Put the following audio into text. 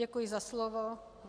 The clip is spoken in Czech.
Děkuji za slovo.